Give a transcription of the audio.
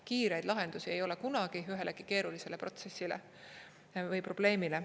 Kiireid lahendusi ei ole kunagi ühelegi keerulisele protsessile või probleemile.